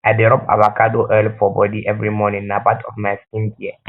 i dey rob avacado oil for bodi every morning na part of my skincare